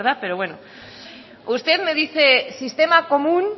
pero bueno usted me dice sistema común